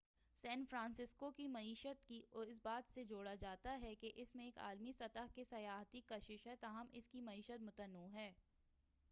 سین Francisco کی معیشت کو اس بات سے جوڑا جاتا ہے کہ اس میں ایک عالمی سطح کی سیاحتی کشش ہے تاہم اس کی معیشت متنوع ہے